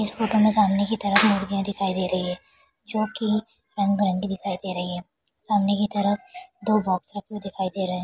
इस फोटो में सामने की तरफ मुर्गियाँ दिखाई दे रही है जो की रंग-बिरंगी दिखाई दे रही है सामने की तरफ दो बॉक्स रखे हुए दिखाई दे रहे हैं।